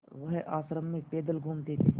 वह आश्रम में पैदल घूमते थे